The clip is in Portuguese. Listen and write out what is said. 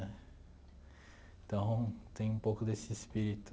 Então, tem um pouco desse espírito.